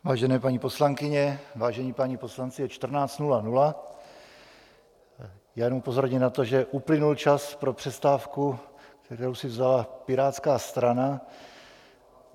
Vážené paní poslankyně, vážení páni poslanci, je 14.00, já jenom upozorním na to, že uplynul čas pro přestávku, kterou si vzala Pirátská strana.